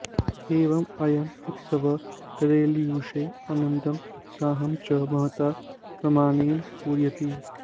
एवम् अयम् उत्सवः केरळीयेषु आनन्दम् उत्साहं च महता प्रमाणेन पूरयति